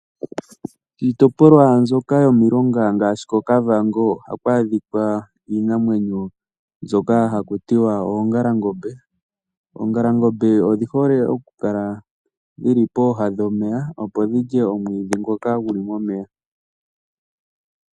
Iitopolwa mbyoka yomilonga ngaashi koKavango ohaku adhikwa iinamwenyo mbyoka haku tiwa oongalangombe. Oongalangombe odhi hole okukala dhi li pooha dhomeya opo dhi lye omwiidhi ngoka gu li momeya.